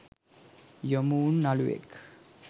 යොමුවුන නළුවෙක්.